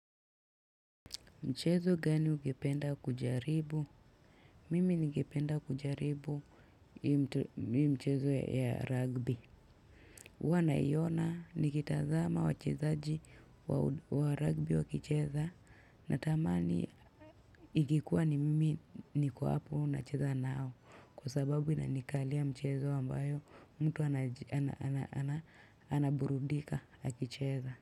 Mchezo gani ugependa kujaribu? Mimi ningependa kujaribu yu mchezo ya rugby. Uwa naiona nikitazama wachezaji wa rugby wa kicheza natamani ikikuwa ni mimi niko hapo nacheza nao kwa sababu inanikalia mchezo ambayo mtu anaburudika akicheza.